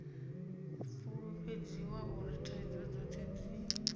fulufhedziswa uri thaidzo dzothe dzi